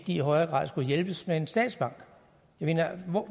i højere grad skulle hjælpes med en statsbank jeg mener